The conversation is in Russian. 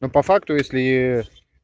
но по факту если